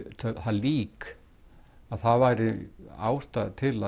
lík að það væri ástæða til